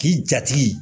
K'i jatigi